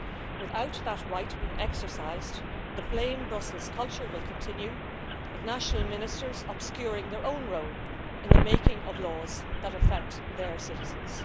Without that right being exercised, the blame Brussels' culture will continue with national Ministers obscuring their own role in the making of laws that affect their citizens.